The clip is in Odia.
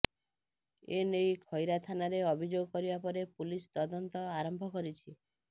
ଏନେଇ ଖଇରା ଥାନାରେ ଅଭିଯୋଗ କରିବା ପରେ ପୁଲିସ ତଦନ୍ତ ଆରମ୍ଭ କରିଛି